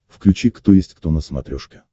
включи кто есть кто на смотрешке